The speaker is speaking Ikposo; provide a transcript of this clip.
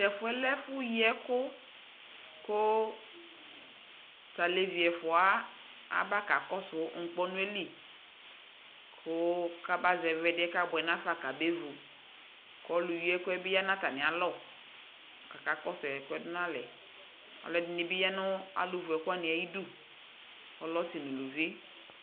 Tɛfuɛ lɛ ɛfu yiɛku talevi ɛfuawa abaakakɔsu ŋkpɔnuɛli kuu kaba ƶɛvi ɛdiɛ kamevu kɔlu yiɛkuɛbi kakɔsudu nafa aludinibi yaa nɛfuɛ kakeyi ɛkuɛ ayiiduƆlɛɛ ɔsi nuluvi